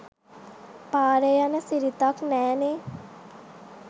පාරේ යන සිරිතක් නෑනේ